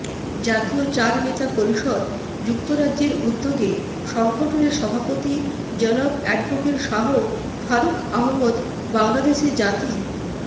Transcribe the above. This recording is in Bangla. জাতিয় চারনেতা পরিষদ যুক্তরাজ্যের উদ্দ্যুগে সংগঠনের সভাপতি জনাব এডভোকেট শাহ ফারুক আহমদ বাংলাদেশে জাতী